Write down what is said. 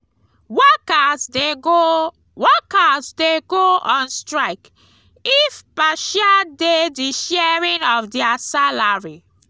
workers de go workers de go on strike if partia de di sharing of their salary